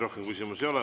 Rohkem küsimusi ei ole.